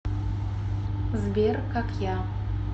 сбер как я